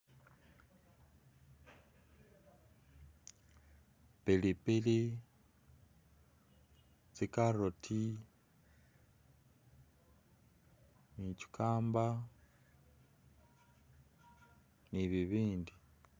Pilipili, tsi carrot, cucumber, ni bibindi.